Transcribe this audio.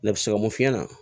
Ne bɛ se ka mun f'i ɲɛna